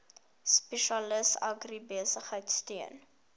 spesialis agribesigheid steun